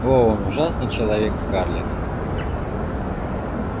о он ужасный ужасный человек скарлетт